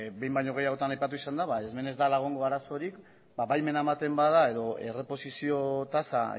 behin baino gehiagotan aipatu izan da hemen ez dela egongo arazorik baimena ematen bada edo erreposizio tasa